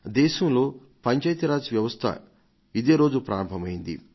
దేశంలో పంచాయతీ రాజ్ వ్యవస్థ ఇదే రోజు అమలులోకి వచ్చింది